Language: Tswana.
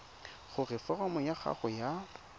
gore foromo ya gago ya